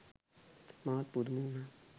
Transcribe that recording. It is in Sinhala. මාත් පුදුම උනා.